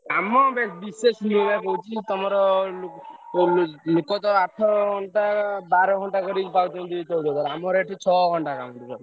କାମ ବିଶେଷ ତଃ କହୁଛି ତମର ଲୋକତ ଆଠ ଘଣ୍ଟା ବାର ଘଣ୍ଟା ଆମର ଏଠି ଛଅ ଘଣ୍ଟା totally ।